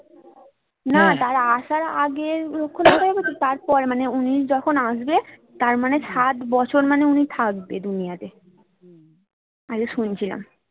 না তার আসার আগের লক্ষণ তার পরে মানে উনি যখন আসবে তার মানে ষাট বছর মানে উনি থাকবে দুনিয়া তে আজকে শুনছিলাম